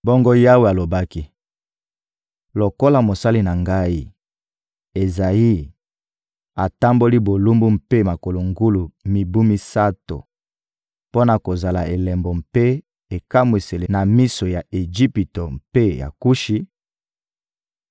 Bongo Yawe alobaki: «Lokola mosali na Ngai, Ezayi, atamboli bolumbu mpe makolo ngulu mibu misato mpo na kozala elembo mpe ekamwiseli na miso ya Ejipito mpe ya Kushi,